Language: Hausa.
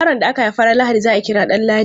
Yaron da aka haifa ran Lahadi za a kira Danladi.